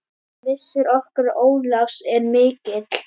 Missir okkar Ólafs er mikill.